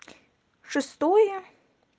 шестое